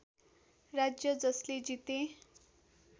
राज्य जसले जिते